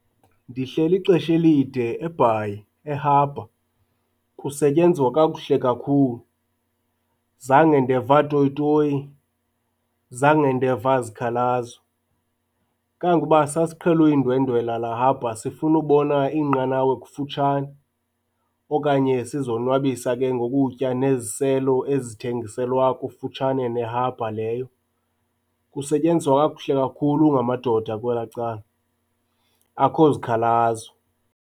Ndihleli ixesha elide eBhayi e-harbour, kusetyenzwa kakuhle kakhulu. Zange ndeva toyitoyi, zange ndeva zikhalazo. Sasiqhele uyindwendwela la-harbour sifuna ubona iinqanawa kufutshane okanye sizonwabisa ke ngokutya neziselo ezithengiselwa kufutshane ne-harbour leyo. Kusetyenzwa kakuhle kakhulu ngamadoda kwelaa cala, akho zikhalazo.